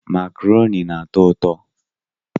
Makaroni na-atọ ụtọ